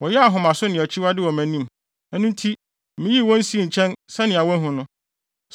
Wɔyɛɛ ahomaso ne akyiwade wɔ mʼanim. Ɛno nti miyii wɔn sii nkyɛn sɛnea woahu no.